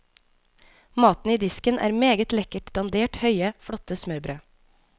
Maten i disken er meget lekkert dandert, høye, flotte smørbrød.